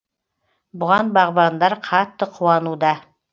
бұған бағбандар қатты қуануда